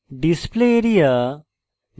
display area